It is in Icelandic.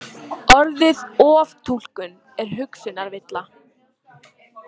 Orðið oftúlkun er hugsunarvilla.